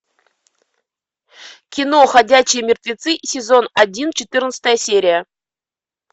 кино ходячие мертвецы сезон один четырнадцатая серия